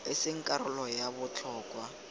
e seng karolo ya botlhokwa